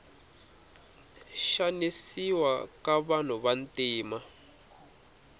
xanisiwa ka vanhu vantima